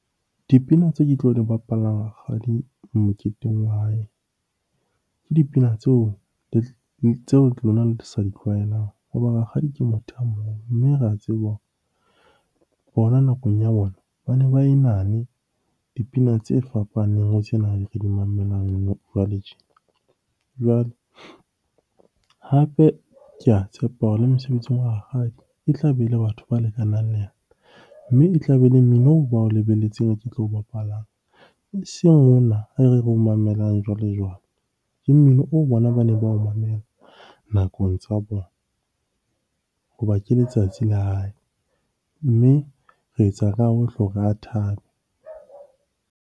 Dipina tse ke tlo di bapalla rakgadi moketeng wa hae, ke dipina tseo lona le sa di tlwaelang. Hoba rakgadi ke motho a moholo, mme re a tseba bona nakong ya bona bane ba dipina tse fapaneng ho tsena re di mamelang jwale tjena. Jwale hape ke a tshepa hore le mosebetsing wa hae e tlabe e le batho ba lekanang le yena, mme e tlabe le mmino oo ba o lebelletseng ke tlo o bapalang eseng mona re o mamelang jwalo-jwalo. Ke mmino oo bona baneng ba o mamela nakong tsa bona hoba ke letsatsi la hae, mme re etsa ka hohle hore a thabe.